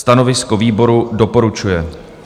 Stanovisko výboru: doporučuje.